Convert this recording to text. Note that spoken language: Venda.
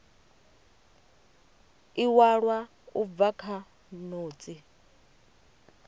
iwalwa u bva kha notsi